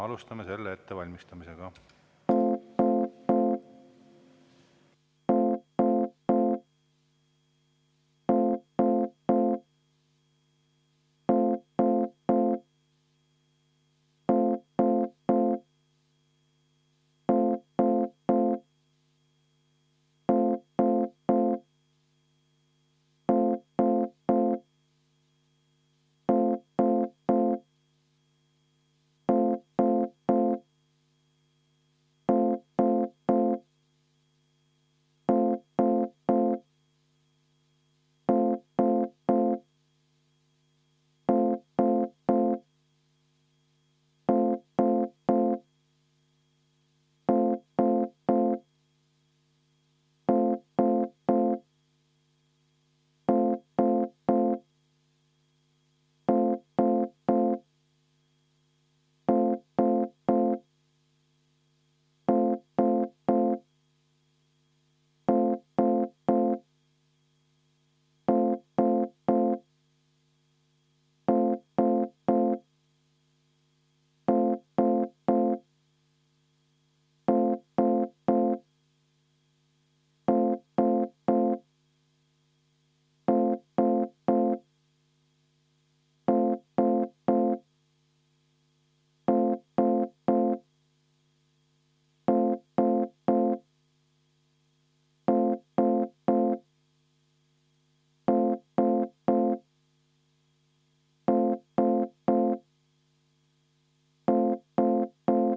Alustame selle ettevalmistamisega.